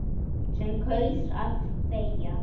Sem kaus að þegja.